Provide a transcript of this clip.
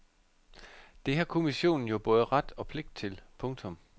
Det har kommissionen jo både ret og pligt til. punktum